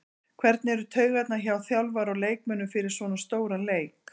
Hvernig eru taugarnar hjá þjálfara og leikmönnum fyrir svona stóran leik?